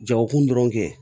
Jagokun dɔrɔn kɛ